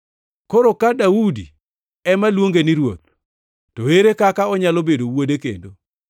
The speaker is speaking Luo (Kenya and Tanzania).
Koro ka Daudi ema luonge ni, ‘Ruoth’ to ere kaka onyalo bedo Wuode kendo?”